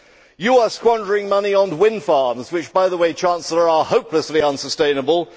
The EU is squandering money on wind farms which, by the way, Chancellor, are hopelessly unsustainable.